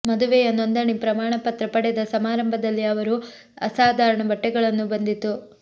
ಮದುವೆಯ ನೋಂದಣಿ ಪ್ರಮಾಣ ಪತ್ರ ಪಡೆದ ಸಮಾರಂಭದಲ್ಲಿ ಅವರು ಅಸಾಧಾರಣ ಬಟ್ಟೆಗಳನ್ನು ಬಂದಿತು